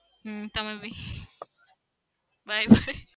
હમ તમે બી by by